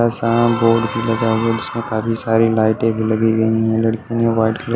सा बोर्ड भी लगा हुआ है जिसमें काफी सारी लाइटें भी लगी हुई हैं व्हाइट कलर --